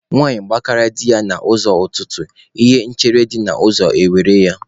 Nwaanyi gbakarịa di ya n'ụzọ ụtụtụ, ihe chere di ya n'ụzọ e were ya.